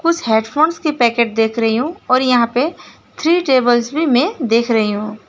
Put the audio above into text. कुछ हेडफोंस की पैकेट देख रही हूं और यहां पे टेबल्स भी मैं देख रही हूं।